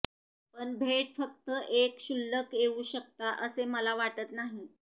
पण भेट फक्त एक क्षुल्लक येऊ शकता असे मला वाटत नाही